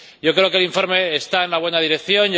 Yo creo que el informe está en la buena dirección.